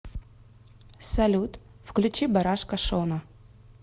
салют включи барашка шона